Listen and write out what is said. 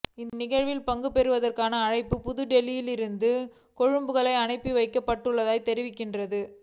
இந்நிகழ்வில் பங்குபற்றுவதற்கான அழைப்பு புதுடடெல்லியிலிருந்து கொழும்புக்கு அனுப்பி வைக்கப்பட்டுள்ளதாகத் தெரிகின்றது